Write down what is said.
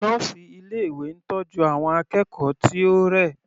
Nọ́ọ̀sì ilé ìwé ń tọ́jú àwọn akẹ́kọ̀ọ́ tí ó rẹ̀.